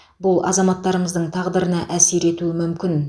бұл азаматтарымыздың тағдырына әсер етуі мүмкін